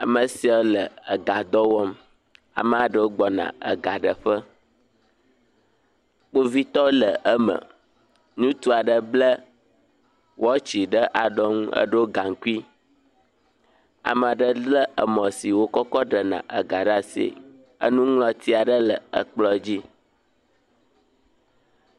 Ame sia le ega dɔ wɔm. ame aɖwo gbɔ na ega ɖe ƒe. Kpovitɔ le eme, ŋutsu aɖe ble wɔtsi ɖe alɔnu eɖo gaŋkui. Ame aɖe le emɔ si dzi wokɔkɔ ɖena ega ɖe asi, enuŋlɔti aɖe le ekplɔ dzi.